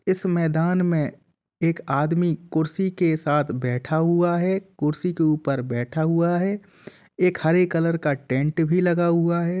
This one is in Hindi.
इस मैदान में एक आदमी कुर्सी के साथ बैठा हुआ हैं। कुर्सी के ऊपर बैठा हुआ हैं। एक हरे कलर का टेन्ट भी लगा हुआ हैं।